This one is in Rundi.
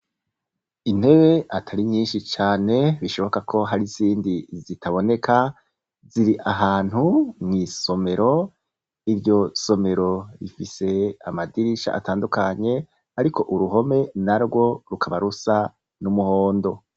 Intebe atari nyishi cane, bishoboka ko hari izindi zitaboneka ziri ahantu mw'isomero, iryo somero rifise amadirisha atandukanye ariko uruhome narwo rukaba rusa n'umuhondo.